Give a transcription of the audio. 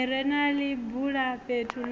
ḽi re na ḽibulafhethu ḽo